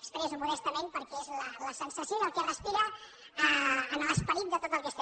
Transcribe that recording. tament perquè és la sensació i el que es respira en l’esperit de tot el que